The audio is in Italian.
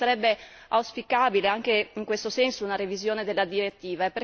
Quindi, sarebbe auspicabile anche in questo senso una revisione della direttiva.